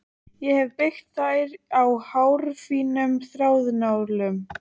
Ég hefi byggt þær á hárfínum stálþráðum.